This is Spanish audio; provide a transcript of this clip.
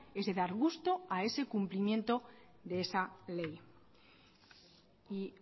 es de dar gusto a ese cumplimiento de esa ley y